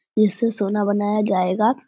इससे सोना बनाया जाएगा।